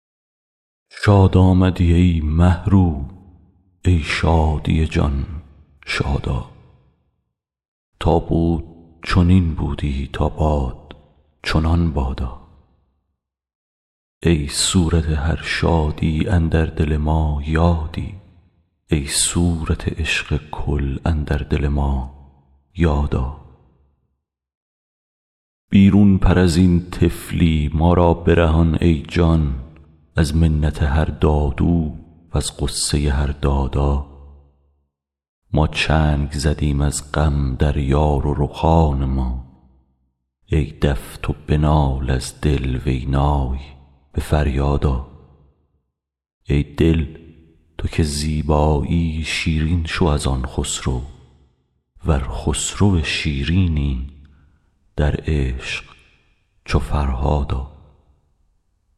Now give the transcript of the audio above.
شاد آمدی ای مه رو ای شادی جان شاد آ تا بود چنین بودی تا باد چنان بادا ای صورت هر شادی اندر دل ما یادی ای صورت عشق کل اندر دل ما یاد آ بیرون پر از این طفلی ما را برهان ای جان از منت هر دادو وز غصه هر دادا ما چنگ زدیم از غم در یار و رخان ما ای دف تو بنال از دل وی نای به فریاد آ ای دل تو که زیبایی شیرین شو از آن خسرو ور خسرو شیرینی در عشق چو فرهاد آ